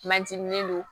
Manciminɛn don